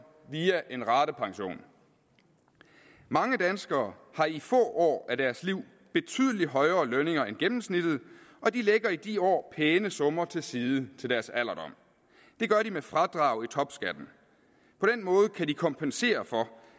via en ratepension mange danskere har i få år af deres liv betydelig højere lønninger end gennemsnittet og de lægger i de år pæne summer til side til deres alderdom det gør de med fradrag i topskatten på den måde kan de kompensere for